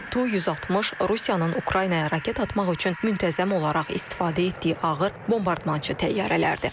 və Tu-160 Rusiyanın Ukraynaya raket atmaq üçün müntəzəm olaraq istifadə etdiyi ağır bombardmançı təyyarələrdir.